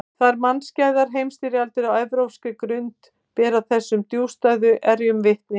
Tvær mannskæðar heimsstyrjaldir á evrópskri grund bera þessum djúpstæðu erjum vitni.